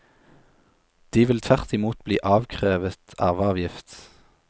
De vil tvert imot bli avkrevet arveavgift.